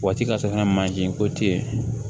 Waati ka se ka manje ko tiɲɛn